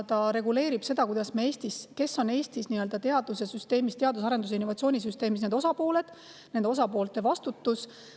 See reguleerib seda, kes on Eestis teaduse, arenduse ja innovatsiooni süsteemi osapooled, ja nende osapoolte vastutust.